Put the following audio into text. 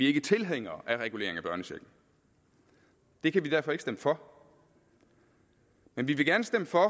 ikke tilhængere af regulering af børnechecken det kan vi derfor ikke stemme for men vi vil gerne stemme for